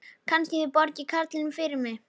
Kannski þið borgið karlinum fyrir mig.